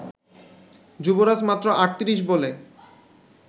যুবরাজ মাত্র ৩৮ বলে